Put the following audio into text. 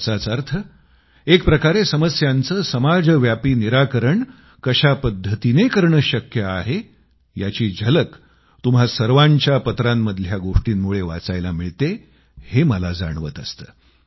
याचाच अर्थ एकप्रकारे समस्यांचे समाजव्यापी निराकरण कशा पद्धतीने करणं शक्य आहे याची झलक तुम्हा सर्वांच्या पत्रांतल्या गोष्टींमुळे वाचायला मिळते हे मला जाणवत असतं